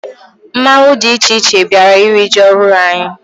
Mmanwụ dị iche iche bịara iri ji ọhụrụ anyị.